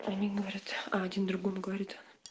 они говорят один другому говорит